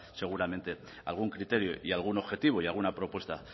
seguramente algún criterio y algún objetivo y alguna propuesta